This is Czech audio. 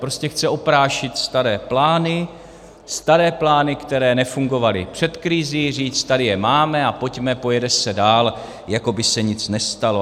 Prostě chce oprášit staré plány, staré plány, které nefungovaly před krizí, říct, tady je máme a pojďme, pojede se dál, jako by se nic nestalo.